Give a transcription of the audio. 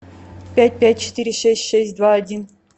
пять пять четыре шесть шесть два один